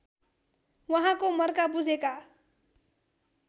उहाँको मर्का बुझेका